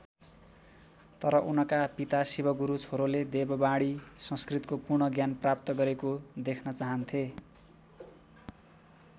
तर उनका पिता शिवगुरु छोरोले देववाणी संस्कृतको पूर्ण ज्ञान प्राप्त गरेको देख्न चाहन्थे।